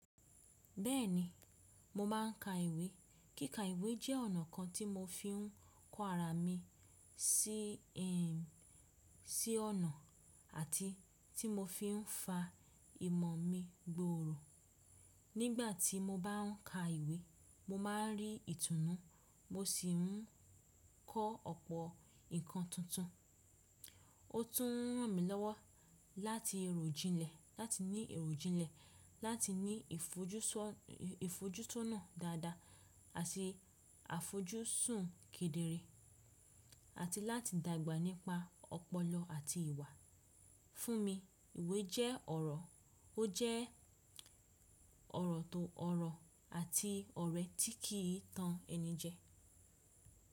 Bẹ́ẹ̀ni, mo máa ń ka ìwe. Kíkà ìwe jẹ́ ọ̀nà kan ti mo fi ń kọ ara mi si sí ọ̀nà àti ti mo fi ń fa imọ̀ mi gbooro. Nígbà tí mo bá ń ka ìwe, mo máa ń rí ìtúnú, mo sì ń kọ́ ọ̀pọ̀ nǹkan tuntun. Ó tún ràn mí lọ́wọ́ láti rojinlẹ ní èròjìnlẹ̀ láti ní ìfojúsọnà dáadáa àti àfojúsùn kédere, àti láti dàgbà nípa ọpọlọ àti ìwà. Fún mi, ìwé jẹ́ ọ̀rọ̀, ó jẹ́ ọ̀rọ̀ tó ọ̀rọ̀ àti ọ̀rẹ́ tí kì í tan ẹni jẹ.